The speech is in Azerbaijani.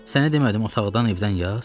Sənə demədim otaqdan evdən yaz?